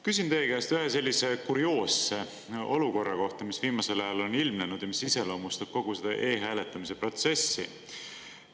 Küsin teie käest ühe sellise kurioosse olukorra kohta, mis viimasel ajal on ilmnenud ja mis iseloomustab kogu seda e-hääletamise protsessi.